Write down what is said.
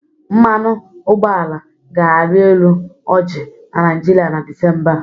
Mmanụ ụgbọala ga-arị elu ọji na Nịajịrịa na Desimba a.